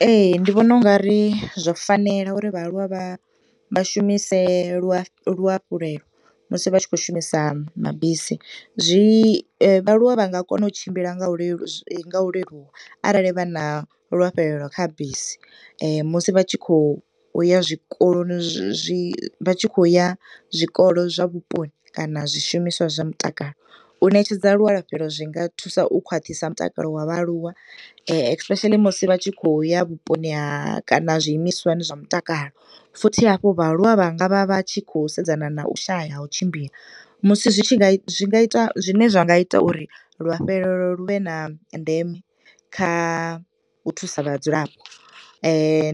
Ee, ndi vhona u ngari zwo fanela uri vha aluwa vha vha shumise lu lu luafhulelo musi vha tshi khou shumisa mabisi. Zwi vha aluwa vha nga kona u tshimbila nga ulelu, nga u leluwa arali vha na luafhelelo kha bisi musi vha tshi kho uya zwikoloni, zwi, vha tshi khou ya zwikolo zwa vhuponi, kana zwishumiswa zwa mutakalo. U ṋetshedza lualafhelo zwinga thusa u khwaṱhisa mutakalo wa vha aluwa especially musi vha tshi khou ya vhuponi ha kana zwiimiswani zwa mutakalo futhi hafho vha aluwa vha nga vha vha tshi khou sedzana na u shaya ha u tshimbila. Musi zwi tshi nga, zwi nga ita, zwine zwa nga ita uri luafhelelo lu vhe na ndeme kha u thusa vhadzulapo